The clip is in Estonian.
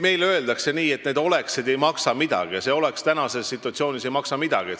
Meil öeldakse, et need "oleksid" ei maksa midagi ja see "oleks" ei maksa praeguses situatsioonis midagi.